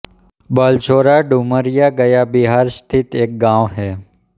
बलसोरा डुमरिया गया बिहार स्थित एक गाँव है